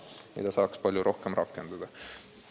Seda saaks palju rohkem rakendada.